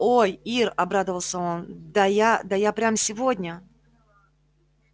ой ир обрадовался он да я да я прямо сегодня